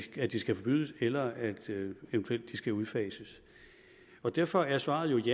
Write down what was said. at de skal forbydes eller at de eventuelt skal udfases derfor er svaret